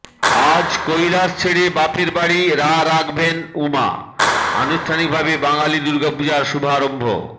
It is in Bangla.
আজ কৈলাশ ছেড়ে বাপের বাড়ি রা রাখবেন উমা আনুষ্ঠানিকভাবে বাঙালির দুর্গাপুজোর শুভারম্ভ